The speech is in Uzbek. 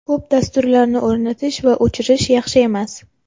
Ko‘p dasturlarni o‘rnatish va o‘chirish yaxshi emas.